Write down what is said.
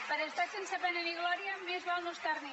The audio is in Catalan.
per estar sense pena ni glòria més val no estar hi